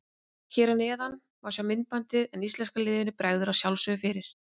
Hér að neðan má sjá myndbandið en íslenska liðinu bregður að sjálfsögðu fyrir.